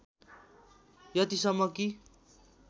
यतिसम्म कि